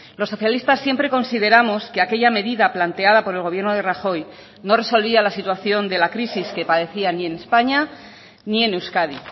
los socialistas siempre consideramos que aquella medida planteada por el gobierno de rajoy no resolvía la situación de la crisis que padecía ni en españa ni en euskadi